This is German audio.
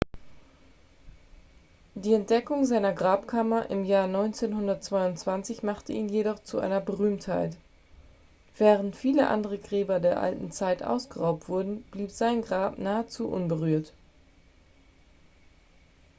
die entdeckung seiner grabkammer im jahr 1922 machte ihn jedoch zu einer berühmtheit während viele gräber der alten zeit ausgeraubt wurden blieb sein grab nahezu unberührt